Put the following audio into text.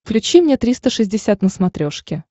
включи мне триста шестьдесят на смотрешке